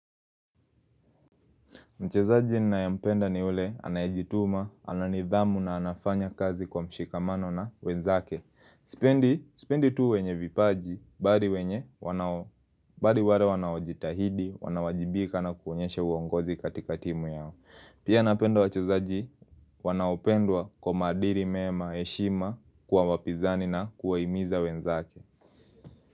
Mchezaji ninayampenda ni ule, anayejituma, ananidhamu na anafanya kazi kwa mshikamano na wenzake. Sipendi tu wenye vipaji, bali wale wanao jitahidi, wanao wajibika na kuonyesha uongozi katika timu yao. Pia napenda wachezaji, wanaopendwa kwa maadili mema heshima kwa wapinzani na kuwa himiza wenzake.